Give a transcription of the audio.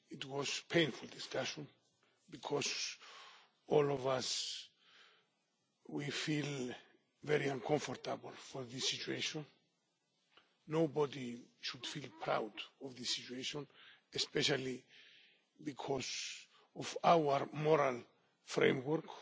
a painful discussion because all of us feel very uncomfortable about the situation. Nobody should feel proud of this situation, especially because of our moral framework,